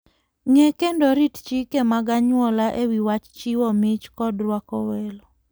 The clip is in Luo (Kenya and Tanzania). Ng'e kendo rit chike mag anyuola e wi wach chiwo mich koda rwako welo.